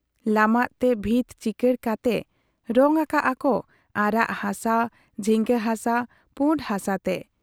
ᱞᱟᱢᱟᱜ ᱛᱮ ᱵᱷᱤᱛ ᱪᱤᱠᱟᱹᱬ ᱠᱟᱛᱮ ᱨᱚᱝ ᱟᱠᱟᱜ ᱟ ᱠᱚ ᱟᱨᱟᱜ ᱦᱟᱥᱟ, ᱡᱷᱤᱸᱜᱟᱹ ᱦᱟᱥᱟ, ᱯᱩᱸᱰ ᱦᱟᱥᱟᱛᱮ ᱾